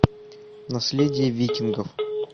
наследие викингов